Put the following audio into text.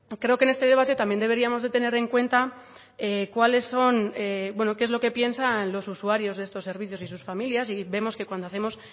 creo que en este debate también deberíamos de tener en cuenta cuáles son qué es lo que piensan los usuarios de estos servicios y sus familias y vemos que cuando hacemos